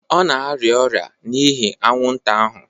Ọ na-arịa ọrịa n'ihi anwụnta ahụ